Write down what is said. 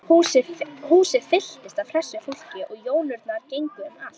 Húsið fylltist af hressu fólki og jónurnar gengu um allt.